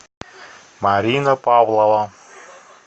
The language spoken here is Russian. марина павлова